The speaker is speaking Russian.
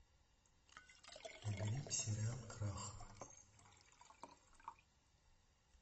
набери сериал крах